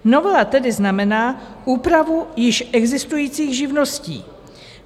Novela tedy znamená úpravu již existujících živností.